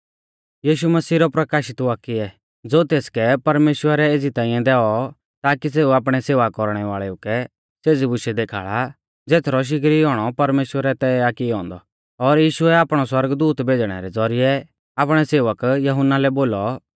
यीशु मसीह रौ प्रकाशित वाक्य ज़ो तेसकै परमेश्‍वरै एज़ी ताईं दैऔ ताकी सेऊ आपणै सेवा कौरणै वाल़ेउ कै सेज़ी बुशै देखाल़ा ज़ेथरौ शिगरी औणौ परमेश्‍वरै तय आ कियौ औन्दौ और यीशुऐ आपणौ सौरगदूत भेज़णै रै ज़ौरिऐ आपणै सेवक यहुन्ना लै बोलौ